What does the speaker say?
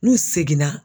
N'u seginna